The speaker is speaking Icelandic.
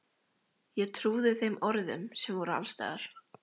Ég trúði þeim orðum sem voru alls staðar.